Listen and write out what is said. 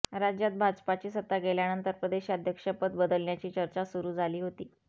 राज्यात भाजपाची सत्ता गेल्यानंतर प्रदेशाध्यक्षपद बदलण्याची चर्चा सुरू झाली होती